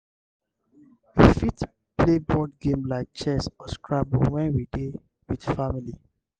we fit play board game like chess or scrabble when we dey with family